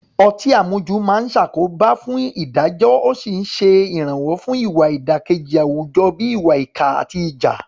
Ọtí àmujù máa ń ṣàkóbá fún ìdájọ́ ó sì ń ṣe ìrànwọ́ fún ìwà ìdàkejì àwùjọ bíi ìwà ìkà àti ìjà.